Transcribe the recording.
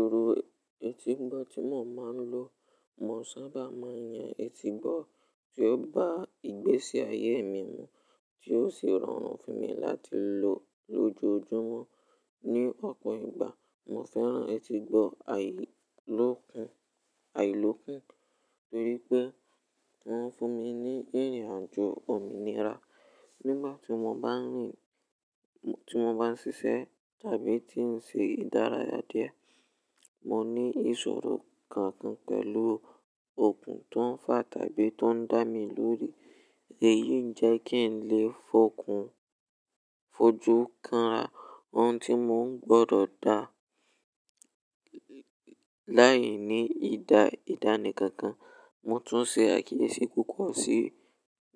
Irú etígbọ́ tí mo máa ń lò, mo sábà máa ń yan etígbọ́ tí ó bá ìgbésí ayé mi mu, tí ó sì rọrùn fún mi láti lò lójoojúmọ́. Ní ọ̀pọ̀ ìgbà mo fẹ́ràn etígbọ́ àìlòkùn, àìlòkùn torí pé ó ń fún mi ní ìrìnàjò òmìnira nígbà tí mo bá ń rìn, tí mo bá ń ṣíṣe tàbí tí ń ṣe ìdárayá díẹ̀. Mo ní ìṣòro kankan pẹ̀lú okùn tó ń fà tàbí tó ń dá mi lórí, èyí ń jẹ́ kí n lè fojú kan ohun tí mò ń gbọ́dọ̀ dá láìní ìdánìkankan. Mo tún ṣe àkíyèsí púpọ̀ sí